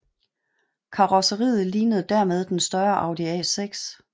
Karrosseriet lignede dermed den større Audi A6